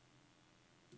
PLM Holmegaard A/S